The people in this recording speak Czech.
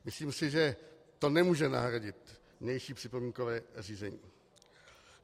Myslím si, že to nemůže nahradit vnější připomínkové řízení.